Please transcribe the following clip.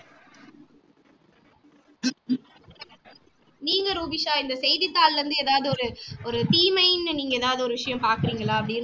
நீங்க ரூபிஷா இந்த செய்தித்தாளிலிருந்து எதாவது ஒரு ஒரு தீமைன்னு நீங்க எதாவது ஒரு விஷயம் பாக்குறீங்களா அப்ப